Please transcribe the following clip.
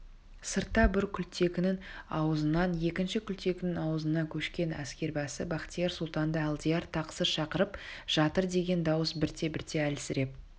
сыртта бір құлтекінің аузынан екінші құлтекінің аузына көшкен әскербасы бахтияр сұлтанды алдияр тақсыр шақырып жатырдеген дауыс бірте-бірте әлсіреп